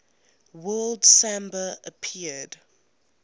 word samba appeared